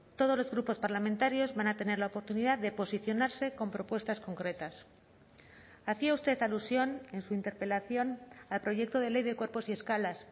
todos los grupos parlamentarios van a tener la oportunidad de posicionarse con propuestas concretas hacía usted alusión en su interpelación al proyecto de ley de cuerpos y escalas